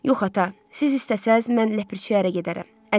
Yox, ata, siz istəsəz, mən Ləpirçiyə ərə gedərəm.